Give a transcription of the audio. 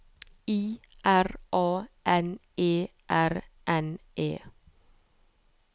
I R A N E R N E